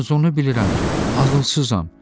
Yalnız onu bilirəm ki, ağılsızam.